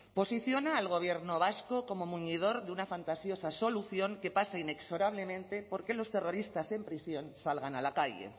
posiciona al gobierno vasco como muñidor de una fantástica esa solución que pasa inexorablemente por que los terroristas en prisión salgan a la calle